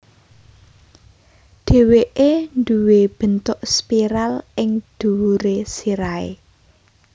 Dhèwèké nduwé bentuk spiral ing dhuwuré sirahé